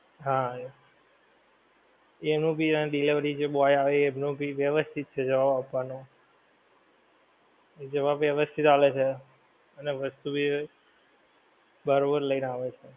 હા એનું ભી delivery boy જે આવે એમનું ભી વ્યવસ્થિત છે જવાબ આપવાનો જવાબ વ્યવસ્થિત આલે છે અને વસ્તુ ભી બરોબર લઈને આવે છે.